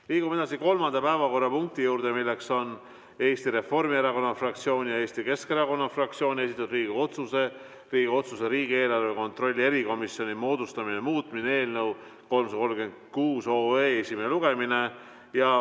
Liigume edasi kolmanda päevakorrapunkti juurde, milleks on Eesti Reformierakonna fraktsiooni ja Eesti Keskerakonna fraktsiooni esitatud Riigikogu otsuse "Riigikogu otsuse "Riigieelarve kontrolli erikomisjoni moodustamine" muutmine" eelnõu 336 esimene lugemine.